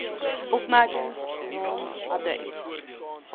opmerkings naam adres